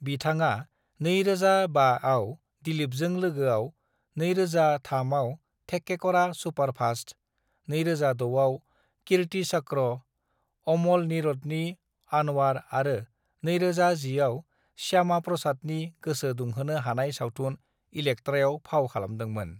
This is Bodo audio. "बिथाङा 2005 आव दिलीपजों लोगोआव, 2003 आव थेक्केकरा सुपारफास्ट, 2006 आव कीर्तिचक्र, अमल नीरदनि आनवार आरो 2010 आव श्यामाप्रसादनि गोसो दुंहोनो हानाय सावथुन इलेक्ट्रायाव फाव खालामदोंमोन।"